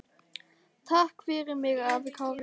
Takk fyrir mig, afi Kári.